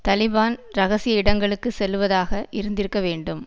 தலிபான் இரகசிய இடங்களுக்கு செல்லுவதாக இருந்திருக்கவேண்டும்